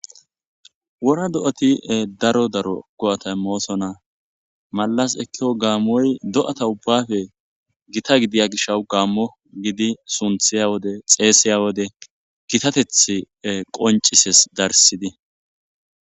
Wora do7ati daro daro go7ata immoosona. Mallas ekkiko gaammoy do7ata ubbafe gita gidiya gishawu gaammo gidi sunthiya wode xeesiya wode gitatethi qonccisees darsidi.